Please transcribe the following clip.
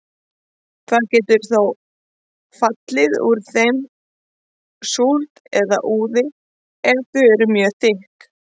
Það getur þó fallið úr þeim súld eða úði ef þau eru mjög þykk.